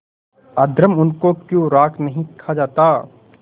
अधर्म उनको क्यों नहीं खा जाता